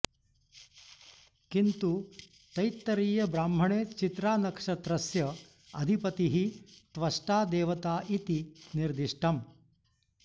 किन्तु तैत्तरीयब्राह्मणे चित्रानक्षत्रस्य अधिपतिः त्वष्टा देवता इति निर्दिष्टम्